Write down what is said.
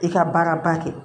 I ka baara ba kɛ